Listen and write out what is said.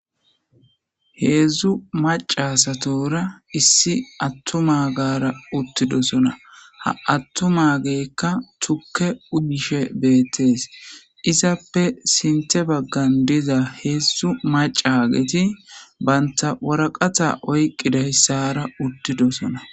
heedzdzu maca satora issi attuma gaara uttidosona ha attuma geekka tukke uyishe beettees izappe sinte baggan diza heedzdzu maca geti banta waraqata oyqqiday sara uttidosona